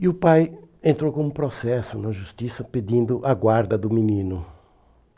E o pai entrou com um processo na justiça pedindo a guarda do menino.